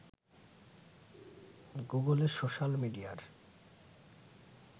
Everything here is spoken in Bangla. গুগলের সোশাল মিডিয়ার